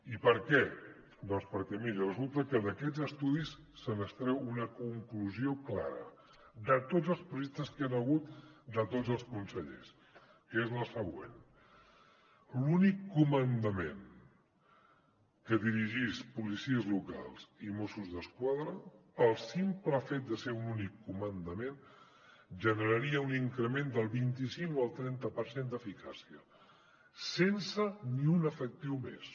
i per què doncs perquè miri resulta que d’aquests estudis se n’extreu una conclusió clara de tots els projectes que hi han hagut de tots els consellers que és la següent l’únic comandament que dirigís policies locals i mossos d’esquadra pel simple fet de ser un únic comandament generaria un increment del vint cinc al trenta per cent d’eficàcia sense ni un efectiu més